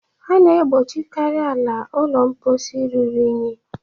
A na-egbochikarị ala ụlọ mposi ruru unyi